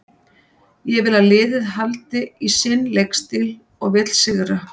Ég vil að liðið haldi í sinn leikstíl og vill sigra.